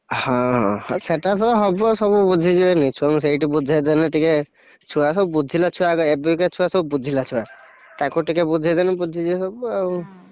ହଁ ସେଇଟାତ ହବ ସବୁ ବୁଝିଯିବେନି ଛୁଆଙ୍କୁ ସେଇଠି ବୁଝେଇଦେଲେ ଟିକେ, ଛୁଆସବୁ ବୁଝିଲା ଛୁଆଗୁଡାକ ଏବେକା ଛୁଆସବୁ ବୁଝିଲା ଛୁଆ, ତାଙ୍କୁ ଟିକେ ବୁଝେଇଦେଲେ ବୁଝିଯିବେ ସବୁ ଆଉ ।